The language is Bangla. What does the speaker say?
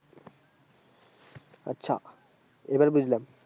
আচ্ছা এবার বুঝলাম